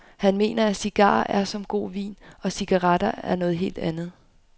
Han mener at cigarer er som en god vin, og cigaretter er noget helt andet.